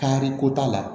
Kariko t'a la